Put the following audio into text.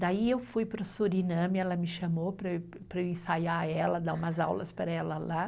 Daí eu fui para o Suriname, ela me chamou para eu ensaiar ela, dar umas aulas para ela lá.